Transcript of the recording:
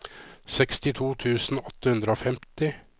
sekstito tusen åtte hundre og femti